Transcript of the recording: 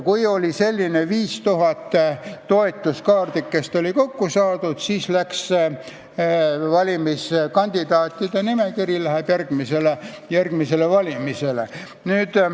Kui 5000 toetuskaardikest oli kokku saadud, siis läks kandidaatide nimekiri valimistele.